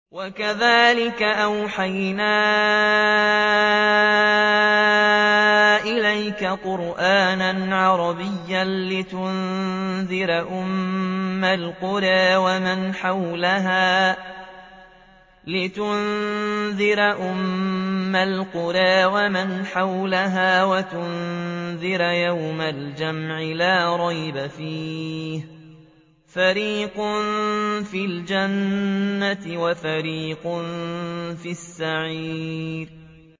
وَكَذَٰلِكَ أَوْحَيْنَا إِلَيْكَ قُرْآنًا عَرَبِيًّا لِّتُنذِرَ أُمَّ الْقُرَىٰ وَمَنْ حَوْلَهَا وَتُنذِرَ يَوْمَ الْجَمْعِ لَا رَيْبَ فِيهِ ۚ فَرِيقٌ فِي الْجَنَّةِ وَفَرِيقٌ فِي السَّعِيرِ